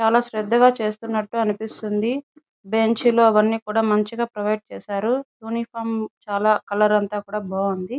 చాలా శ్రద్ధగా చేస్తున్నట్టు అనిపిస్తుంది. బెంచ్ లో అవన్నీ కూడా మంచిగా ప్రొవైడ్ చేశారు. యూనిఫామ్ చాలా కలర్ అంతా కూడా బాగుంది.